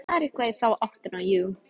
Þú sagðir eitthvað í þá áttina, jú.